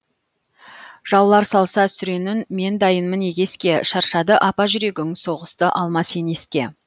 жаулар салса сүренін мен дайынмын егеске шаршады апа жүрегің соғысты алма сен еске